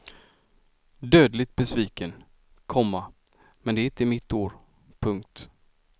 Dödligt besviken, komma men det är inte mitt år. punkt